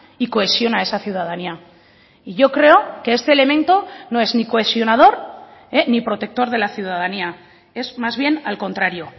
y cohesiona esa ciudadanía y yo creo que este elemento no es ni cohesionador ni protector de la ciudadanía es más bien al contrario